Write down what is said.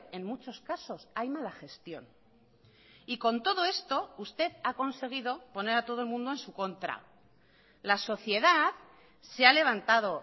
en muchos casos hay mala gestión y con todo esto usted ha conseguido poner a todo el mundo en su contra la sociedad se ha levantado